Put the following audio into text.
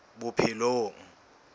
bophelong